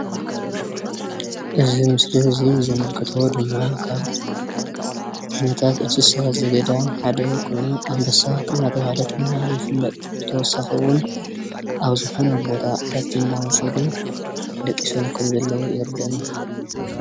እዚ ምሰሊ እዙይ ዘምልክቶ ድማ ካብ ዓይነታት እንስሳ ዘገዳም ሓደ ኮይኑ ኣንበሳ እንዳተባሃለ ድማ ይፍለጥ። ብተወሳኪ እወን ኣብ ዝኾነ ቦታ ዕረፍቲ እንዳወሰዱ ደቂሶም ከም ዘለው የርደአና።